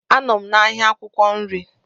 Anọ m n'ahịa akwukwo nri.